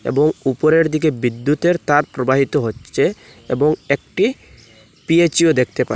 বউ উপরের দিকে বিদ্যুতের তার প্রবাহিত হচ্চে এবং একটি পিএইচইও দেখতে পা--